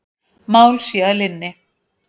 Mál sé að linni.